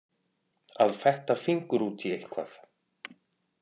Að fetta fingur út í eitthvað